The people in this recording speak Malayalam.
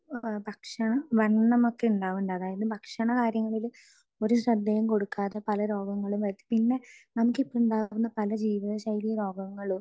സ്പീക്കർ 2 ഭക്ഷണം ഈ വണ്ണമൊക്കെ ഉണ്ടാവുന്നുണ്ട് അതായത് ഭക്ഷണകാര്യങ്ങളില് ഒരു ശ്രദ്ധയും കൊടുക്കാതെ പല രോഗങ്ങളും വരുന്നു പിന്നെ നമുക്ക് ഇപ്പോ ഉണ്ടാകുന്ന പല ജീവിതശൈലി രോഗങ്ങളും